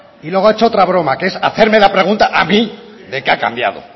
y luego ha hecho otra broma que es hacerme la pregunta a mí de qué ha cambiado